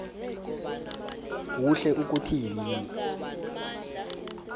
kuhle ukuthi yini